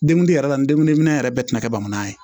Denguli yɛrɛ la n dengoniminɛ yɛrɛ bɛɛ tɛna kɛ bamananya ye